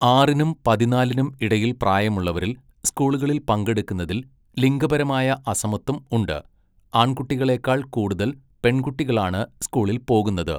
ആറിനും പതിനാലിനും ഇടയിൽ പ്രായമുള്ളവരിൽ സ്കൂളുകളിൽ പങ്കെടുക്കുന്നതിൽ ലിംഗപരമായ അസമത്വം ഉണ്ട്, ആൺകുട്ടികളേക്കാൾ കൂടുതൽ പെൺകുട്ടികളാണ് സ്കൂളിൽ പോകുന്നത്.